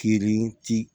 Feere ti